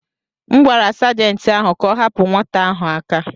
M gwara Sajentị ahụ ka ọ hapụ nwata ahụ aka.